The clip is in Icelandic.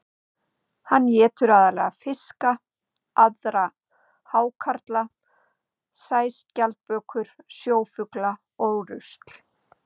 Hann étur aðallega fiska, aðra hákarla, sæskjaldbökur, sjófugla og rusl.